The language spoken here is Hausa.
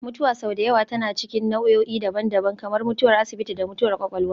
Mutuwa sau da yawa tana cikin nau'o'i daban-daban, kamar mutuwar asibiti da mutuwar kwakwalwa